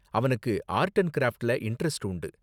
அவனுக்கு art and க்ராஃப்ட்ல interest உண்டு.